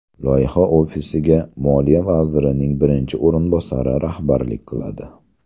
Loyiha ofisiga moliya vazirining birinchi o‘rinbosari rahbarlik qiladi.